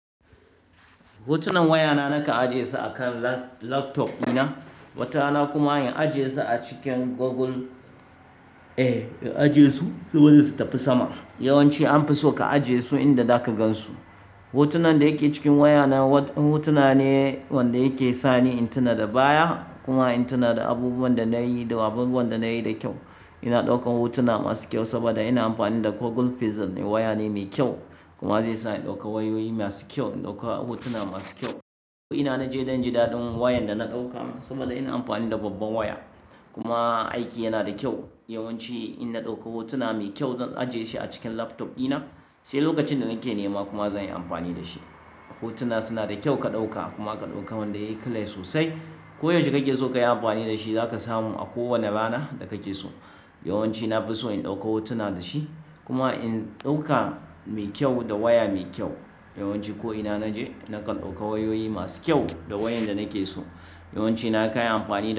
Hotunan wayana nakan ajiye su a kan laptop dina. Watarana kuma in ajiye su a cikin goggle, eh in ajiye su saboda su tafi sama. Yawanci anfi so ka ajiye su inda zaka gan su. Hotunan da yake cikin wayana, hotuna ne wanda yake sani in tuna da baya kuma in tuna da abubuwan da nayi da abubuwan da nayi da kyau. Ina ɗaukan hotuna masu kyau saboda ina amfani da goggle pixel ne, waya ne me kyau kuma zai sa in ɗauka wayoyi masu kyau, in ɗauka hotuna masu kyau. Ko ina naje zan ji da ɗin wayan da na ɗauka saboda ina amfani da babban waya. Kuma aiki yana da kyau. Yawanci in na ɗauka hotuna mai kyau zan ajiye shi a cikin laptop dina, sai lokacin da nake nema kuma zan yi amfani da shi. Hotuna suna da kyau ka ɗauka kuma ka ɗauka wanda yayi clear sosai. Ko yaushe kake so kayi amfani da shi, zaka samu a kowane rana da kake so. Yawanci na fi so in ɗauka hotuna da shi kuma in ɗauka me kyau da waya me kyau. Yawanci ko ina naje nakan ɗauka wayoyi masu kyau da wayan da nake so. Yawanci na kai amfani da shi.